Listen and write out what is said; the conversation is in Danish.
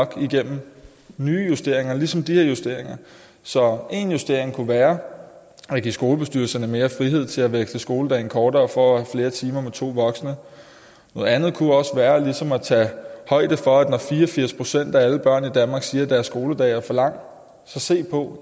gennem nye justeringer ligesom de her justeringer så en justering kunne være at give skolebestyrelserne mere frihed til at veksle skoledagen kortere for at have flere timer med to voksne noget andet kunne også være ligesom at tage højde for det når fire og firs procent af alle børn i danmark siger at deres skoledag er for lang og så se på